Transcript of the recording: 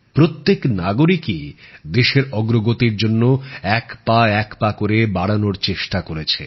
প্রত্যেক নাগরিকই দেশের অগ্রগতির জন্য এক পা এক পা করে বাড়ানোর চেষ্টা করেছে